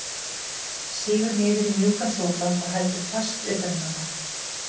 Sígur niður í mjúkan sófa og heldur fast utan um hana.